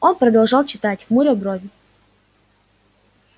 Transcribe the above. он продолжал читать хмуря брови